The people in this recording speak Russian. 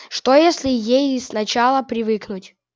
что если ей сначала привыкнуть